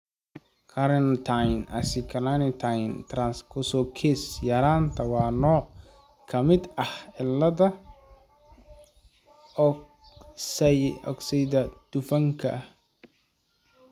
Carnitine acylcarnitine translocase yaraanta waa nooc ka mid ah cilladda oksaydhka dufanka leh.